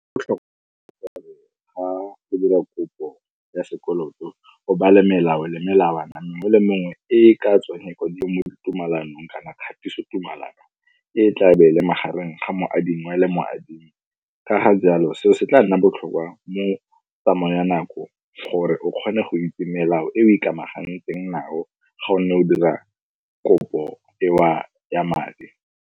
O tlhoka ga o dira kopo ya sekoloto o bale melao le melawana mengwe le mengwe e e ka tswang e kwadilwe mo tumalanong kana kgatiso tumalano e e tla be e le magareng ga moadingwa le moadimi. Ka ga jalo seo se tla nna botlhokwa mo tsamaong ya nako gore o kgone go itse melao e o ikamaganetseng nao ga o ne o dira kopo eo ya madi.